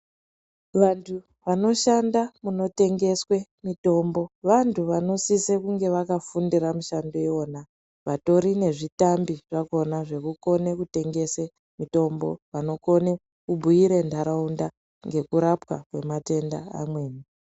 Vantu vanoshanda munotengeswa mitombo vantu vanositse kunge vakafunda mushando iwona , vatori nezvitambi zvakona zvekukone kutengesa mitombo, vanokone kubhuira ndaraunda ngekurapwa kwematenda amweni.